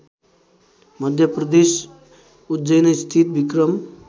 मध्यप्रदेश उज्जैनस्थित विक्रम